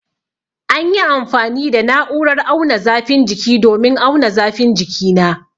An yi amfani da na'urar auna zafin jiki domin auna zafin jikina